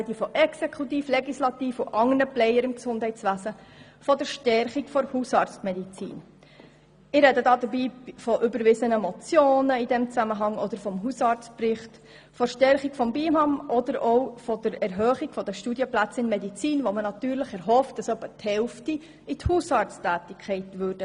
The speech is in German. Dabei spreche ich von Exekutive, Legislative und anderen Playern im Gesundheitswesen, von überwiesenen Motionen und vom Hausarztbericht, von der Stärkung des BIHAM und der Erhöhung der Anzahl Studienplätze in der Medizin, wo man sich erhofft, dass etwa die Hälfte in die Hausarzttätigkeit gehen werden.